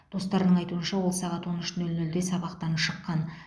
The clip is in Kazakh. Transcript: достарының айтуынша ол сағат он үш нөл нөлде сабақтан шыққан